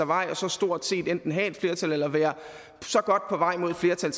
vej og så stort set enten have et flertal eller være så godt på vej mod et flertal